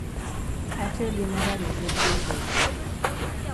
atiyo gi mor alizeti e tedo